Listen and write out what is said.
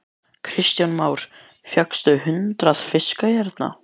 Kristján Már: Fékkstu hundrað fiska hérna?